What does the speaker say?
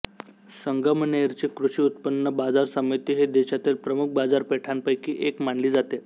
संगमनेरची कृषी उत्पन्ना बाजर समिती ही देशातील प्रमुख बाजारपेठांपैकी एक मानली जाते